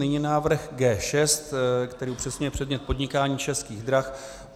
Nyní návrh G6, který upřesňuje předmět podnikání Českých drah.